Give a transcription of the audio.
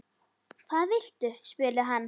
Hvað viltu? spurði hann.